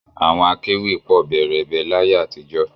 Àwọn akẹ́wì pọ̀ bẹẹrẹbẹ láyé àtijọ́